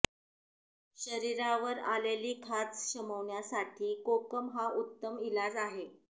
शरीरावर आलेली खाज शमवण्यासाठी कोकम हा उत्तम इलाज आहे